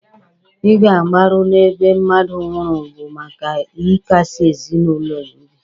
Ị ga mgbaru n'ebe mmadụ nwụrụ bụ maka ị kasị ezinụlọ ya obi.